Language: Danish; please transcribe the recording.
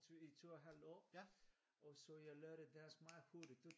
To i to et halvt år og så jeg lærte dansk meget hurtigt